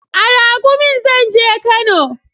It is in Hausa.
A Raƙumin zan je Kano